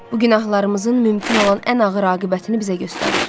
Bu günahlarımızın mümkün olan ən ağır aqibətini bizə göstərir.